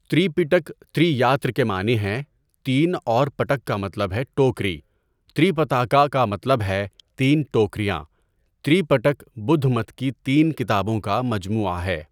تری پِٹَک تری یا تر کے معنی ہیں تین اور پٹک کا مطلب ہے ٹوکری، تری پتاکا کا مطلب ہے تین ٹوکریاں تری پٹک بدھ مت کی تین کتابوں کا مجموعہ ہے.